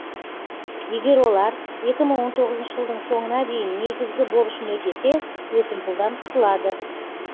егер олар екі мың он тоғызыншы жылдың соңына дейін негізгі борышын өтесе өсімпұлдан құтылады